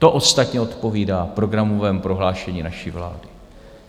To ostatně odpovídá programovému prohlášení naší vlády.